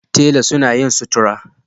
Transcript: Tela suna yin sutura